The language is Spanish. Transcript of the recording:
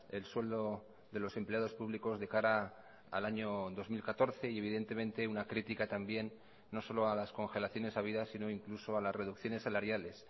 el sueldo de los empleados públicos de cara al año dos mil catorce y evidentemente una crítica también no solo a las congelaciones habidas sino incluso a las reducciones salariales